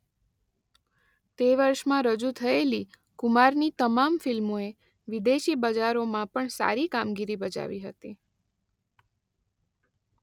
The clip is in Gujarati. તે વર્ષમાં રજૂ થયેલી કુમારની તમામ ફિલ્મોએ વિદેશી બજારોમાં પણ સારી કામગીરી બજાવી હતી.